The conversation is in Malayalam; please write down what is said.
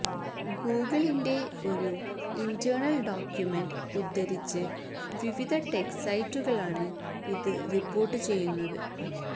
ഗൂഗിളിന്റെ ഒരു ഇന്റേണല് ഡോക്യുമെന്റ് ഉദ്ധരിച്ച് വിവിധ ടെക് സൈറ്റുകളാണ് ഇത് റിപ്പോര്ട്ട് ചെയ്യുന്നത്